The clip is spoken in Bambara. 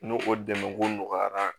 N'o o dɛmɛkun nɔgɔyara